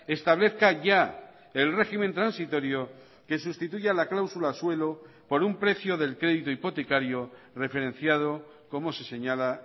establezca ya el régimen transitorio que sustituya la cláusula suelo por un precio del crédito hipotecario referenciado como se señala